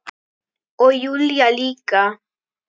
Og Júlía líka.